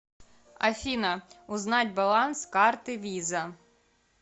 афина узнать баланс карты виза